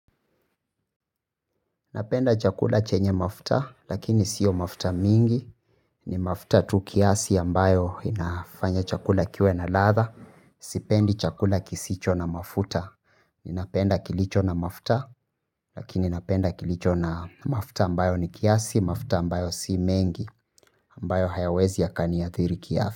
Napenda chakula chenye mafuta, lakini sio mafuta mingi, ni mafuta tu kiasi ambayo inafanya chakula kiwe na ladha, sipendi chakula kisicho na mafuta, ninapenda kilicho na mafuta, lakini napenda kilicho na mafuta ambayo ni kiasi, mafuta ambayo si mengi, ambayo hayawezi yakani athiri kiafya.